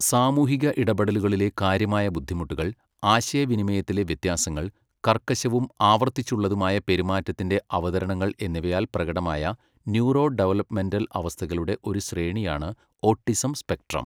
സാമൂഹിക ഇടപെടലുകളിലെ കാര്യമായ ബുദ്ധിമുട്ടുകൾ, ആശയവിനിമയത്തിലെ വ്യത്യാസങ്ങൾ, കർക്കശവും ആവർത്തിച്ചുള്ളതുമായ പെരുമാറ്റത്തിൻ്റെ അവതരണങ്ങൾ എന്നിവയാൽ പ്രകടമായ ന്യൂറോ ഡെവലപ്മെന്റൽ അവസ്ഥകളുടെ ഒരു ശ്രേണിയാണ്, ഓട്ടിസം സ്പെക്ട്രം.